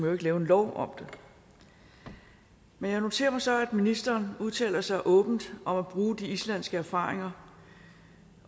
jo ikke lave en lov om det men jeg noterer mig så at ministeren udtaler sig åbent om at bruge de islandske erfaringer